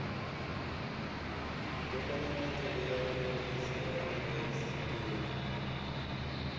mbekanyamaitele ya phoḽisi ya indasiṱeri